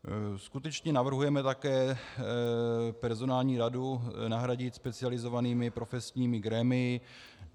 Skutečně navrhujeme také personální radu nahradit specializovanými profesními grémii.